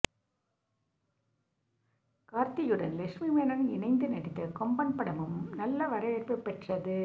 கார்த்தியுடன் லக்ஷ்மி மேனன் இணைந்து நடித்த கொம்பன் படமும் நல்ல வரவேற்பை பெற்றது